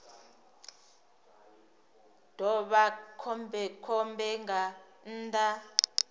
ḓo vha khombekhombe nga nnḓa